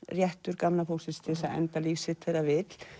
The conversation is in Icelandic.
réttur gamla fólksins til að enda líf sitt þegar það vill